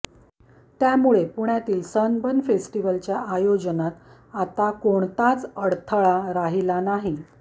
त्यामुळे पुण्यातील सनबर्न फेस्टिवलच्या आयोजनात आता कोणताच अडथळा राहिलेला नाही